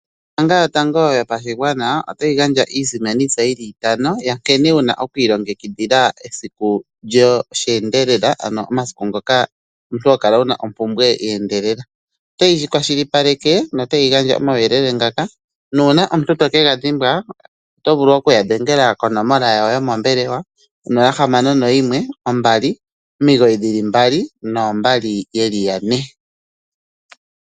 Ombaanga yotango yopashigwana otayi gandja iisimanitsa yi li itano ya nkene wu na oku ilongekidhila esiku lyosheendelela, ano omasiku ngoka omuntu ho kala wu na ompumbwe ye endelela. Otayi kwashilipaleke notayi gandja omauyelele ngaka nuuna omuntu to ke ga dhimbwa oto vulu okudhengela konomola yawo yomombelewa 0612992222.